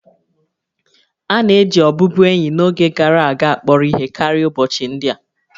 A na-eji ọbụbụenyi n'oge gara aga akpọrọ ihe karịa ụbọchị ndị a